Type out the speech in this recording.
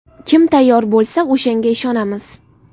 Kim tayyor bo‘lsa, o‘shanga ishonamiz.